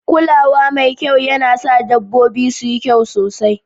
Kula wa mai kyau yana sa dabbobi su yi kyau sosai